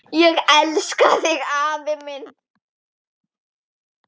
Ég elska þig afi minn.